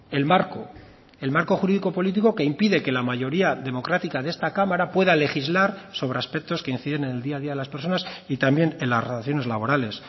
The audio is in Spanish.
el marco el marco jurídico político que impide que la mayoría democrática de esta cámara pueda legislar sobre aspectos que inciden en el día a día de las personas y también en las relaciones laborales